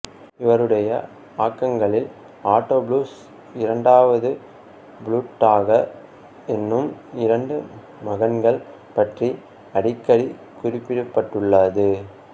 இவருடைய ஆக்கங்களில் ஆட்டோபுலுஸ் இரண்டாவது புளூட்டாக் என்னும் இரண்டு மகன்கள் பற்றி அடிக்கடி குறிப்பிடப்பட்டுள்ளது